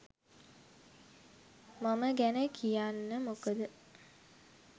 මම ගැන කියන්න මොකද